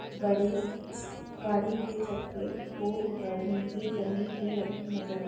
बड़ी गाड़ी के चक्के खोल कर नीचे जमीन पे रखे नज़र आ--